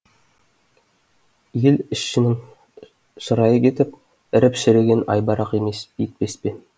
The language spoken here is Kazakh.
ел ішінің шырайы кетіп іріп шірігенін айбарақ етпес пе